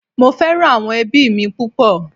Mo fẹ́ràn àwọn ẹbí mi púpọ̀